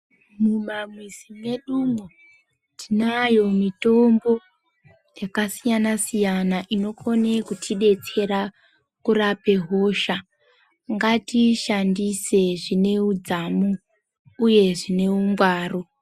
Mumamizi mwedumwo tinayo mitombo yakasiyana-siyana, inokone kutidetsera kurape hosha. Ngatiishandise zvine udzamu, uye zvine ungwaru.